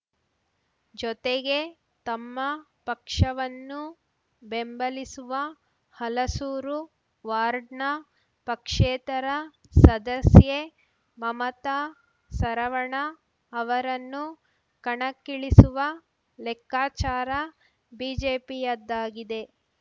ಜೊತೆಗೆ ತಮ್ಮ ಪಕ್ಷವನ್ನು ಬೆಂಬಲಿಸುವ ಹಲಸೂರು ವಾರ್ಡ್‌ನ ಪಕ್ಷೇತರ ಸದಸ್ಯೆ ಮಮತಾ ಸರವಣ ಅವರನ್ನು ಕಣಕ್ಕಿಳಿಸುವ ಲೆಕ್ಕಾಚಾರ ಬಿಜೆಪಿಯದ್ದಾಗಿದೆ